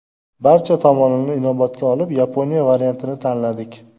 Barcha tomonini inobatga olib, Yaponiya variantini tanladik.